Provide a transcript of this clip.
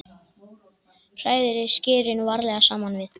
Hrærið skyrinu varlega saman við.